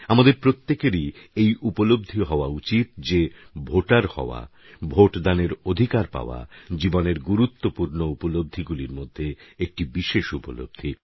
আমাদের প্রত্যেকেরই এই উপলব্ধি হওয়া উচিত যে ভোটার হওয়া ভোটদানের অধিকার পাওয়া জীবনের গুরুত্বপূর্ণ উপলব্ধিগুলির মধ্যে একটি বিশেষ উপলব্ধি